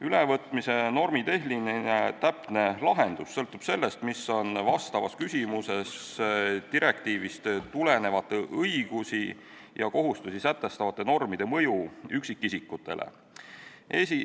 Ülevõtmise täpne normitehniline lahendus sõltub sellest, mis on vastavas küsimuses direktiivist tulenevate õigusi ja kohustusi sätestavate normide mõju üksikisikutele.